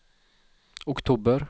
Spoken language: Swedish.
oktober